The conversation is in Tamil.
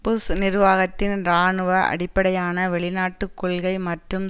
புஷ் நிர்வாகத்தின் இராணுவ அடிப்படையான வெளிநாட்டு கொள்கை மற்றும்